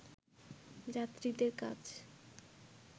যাত্রীদের কাছ